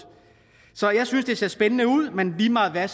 så jeg synes det ser spændende ud men lige meget hvad